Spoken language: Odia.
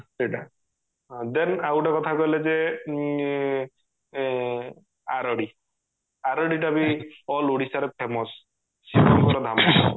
ସେଇଟା then ଆଉ ଗୋଟେ କଥା କହିଲେ ଯେ ଏଁ ଏଁ ଆରଡି ଆରଡି ଟା ବି all ଓଡିଶାରେ famous ଶିବ ଙ୍କ ଧାମ